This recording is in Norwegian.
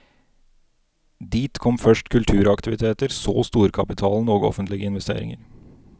Dit kom først kulturaktiviteter, så storkapitalen og offentlige investeringer.